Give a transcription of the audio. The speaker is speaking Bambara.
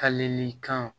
Kalenni kan